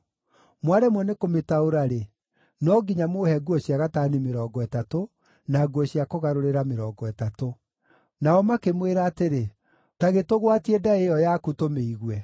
Mwaremwo nĩ kũmĩtaũra-rĩ, no nginya mũũhe nguo cia gatani mĩrongo ĩtatũ, na nguo cia kũgarũrĩra mĩrongo ĩtatũ.” Nao makĩmwĩra atĩrĩ, “Ta gĩtũgwatie ndaĩ ĩyo yaku, tũmĩigue.”